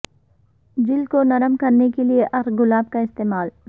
جلد کو نرم کرنے کے لیے عرق گلاب کا استعمال